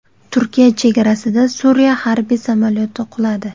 Turkiya chegarasida Suriya harbiy samolyoti quladi.